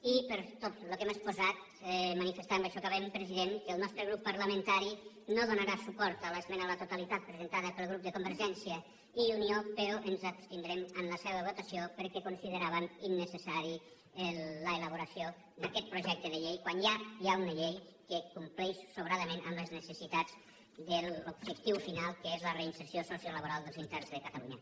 i per tot el que hem exposat manifestar amb això acabem president que el nostre grup parlamentari no donarà suport a l’esmena a la totalitat presentada pel grup de convergència i unió però ens abstindrem en la seva votació perquè consideràvem innecessària l’elaboració d’aquest projecte de llei quan ja hi ha una llei que compleix sobradament amb les necessitats de l’objectiu final que és la reinserció sociolaboral dels interns de catalunya